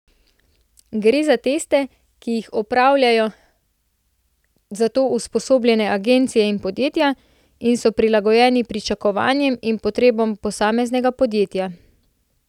Gre za teste, ki jih opravljajo za to usposobljene agencije in podjetja, in so prilagojeni pričakovanjem in potrebam posameznega podjetja.